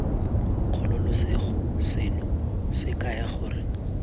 kgololosego seno se kaya gore